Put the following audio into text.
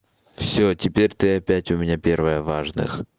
всё теперь ты опять у меня первая в важных